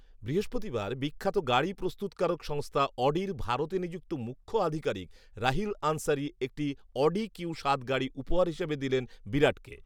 বৃহস্পতিবার বিখ্যাত গাড়ি প্রস্তুতকারক সংস্থা অডির ভারতে নিযুক্ত মুখ্য আধিকারিক রাহিল আনসারি একটি অডি কিউ সাত গাড়ি উপহার হিসেবে দিলেন বিরাটকে